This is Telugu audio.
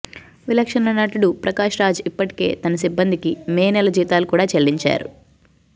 విలక్షణ నటుడు ప్రకాష్ రాజ్ ఇప్పటికే తన సిబ్బందికి మే నెల జీతాలు కూడా చెల్లించారు